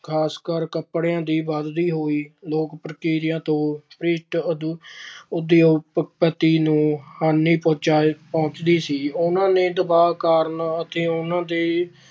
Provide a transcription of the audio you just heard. ਖਾਸਕਰ ਕੱਪੜਿਆਂ ਦੀ ਵਧਦੀ ਹੋਈ ਲੋਕਪ੍ਰਿਯਤਾ ਤੋਂ British ਉਦਯੋਗਪਤੀਆਂ ਨੂੰ ਹਾਨੀ ਪਹੁੰਚਾਈ ਅਹ ਪਹੁੰਚਦੀ ਸੀ। ਉਨ੍ਹਾਂ ਨੇ ਦਬਾਅ ਕਾਰਨ ਅਤੇ ਉਨ੍ਹਾਂ ਦੇ